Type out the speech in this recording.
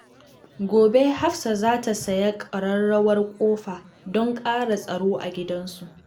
Gobe, Hafsat za ta sayi ƙararrawar ƙofa don ƙara tsaro a gidan su.